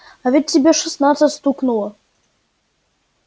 а ведь тебе шестнадцать стукнуло